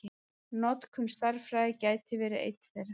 Notkun stærðfræði gæti verið einn þeirra.